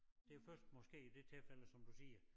Det jo først måske i det tilfælde som du siger